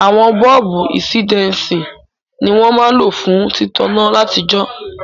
Àwon bọ́ọ̀bù insidensi ni won ma n lo fún títaná látijó